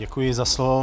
Děkuji za slovo.